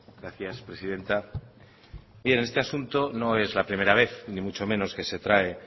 gracias presidenta bien este asunto no es la primera vez ni mucho menos que se trae